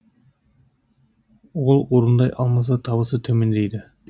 ал орындай алмаса табысы төмендейді